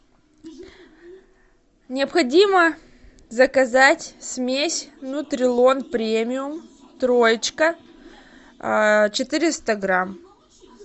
необходимо заказать смесь нутрилон премиум троечка четыреста грамм